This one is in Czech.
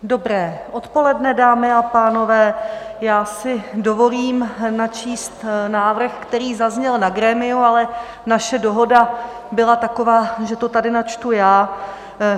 Dobré odpoledne, dámy a pánové, já si dovolím načíst návrh, který zazněl na grémiu, ale naše dohoda byla taková, že to tady načtu já.